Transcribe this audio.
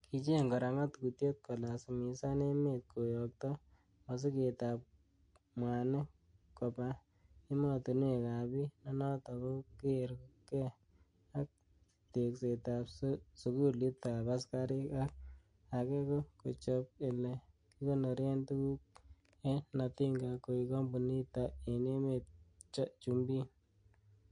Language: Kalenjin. Kicheng kora ngatutiet kolasimisan emet koyokto mosigetab mwanik koba emotinwekab bii, nenoton kogeer gee ak teksetab sugulitab askarik ak age ko kochob ele kikonoren tuguk en Natinga koik kompunit en emetab chumbiin.